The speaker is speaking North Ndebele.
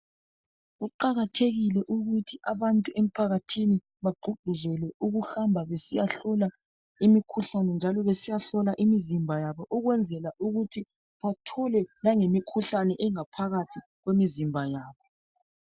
Kuqakathekile ukuthi abantu emphakathini bagqugquzelwe ukuhamba besiyahlola imikhuhlane njalo besiyahlola imizimba yabo ukwenzela ukuthi bathole langemikhuhlane engaphakathi kwemizimba yabo.